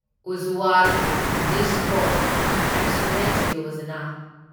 Ujjwal DISCOM assurance Yojana